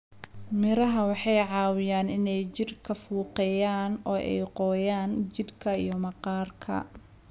Miraha waxay caawiyaan inay jirka fuuqeeyaan oo ay qoyaan jidhka iyo maqaarka.